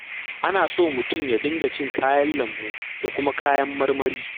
Ana so mutum ya dinga cin kayan lambu da kuma kayan marmari.